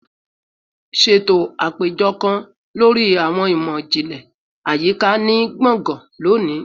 Ṣeto apejọ kan lori Awọn imọ-jinlẹ Ayika ni gbongan loni